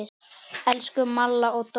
Elsku Malla og Dóri.